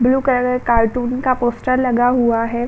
Blue colour का cartoon का poster लगा हुआ है।